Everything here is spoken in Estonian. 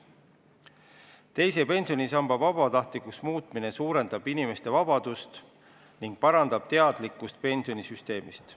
Teise pensionisamba vabatahtlikuks muutmine suurendab inimeste vabadust ning parandab teadlikkust pensionisüsteemist.